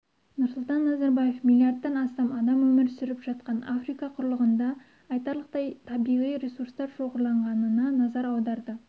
нұрсұлтан назарбаев миллиардтан астам адам өмір сүріп жатқан африка құрлығында айтарлықтай табиғи ресурстар шоғырланғанына назар аударды